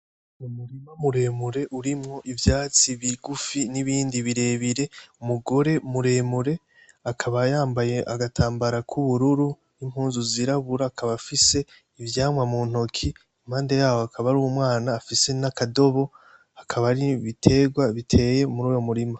Umurima muremure urimwo ivyatsi bigufi n'ibindi birebire, umugore muremure akaba yambaye agatambara kubururu n'impuzu zirabura akaba afise ivyamwa mu ntoki impande yaho hakaba hariho umwana afise nakadobo hakaba hari n'ibitegwa biteye muruwo murima.